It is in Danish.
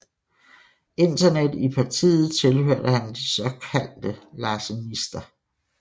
Internet i partiet tilhørte han de såkaldte larsenister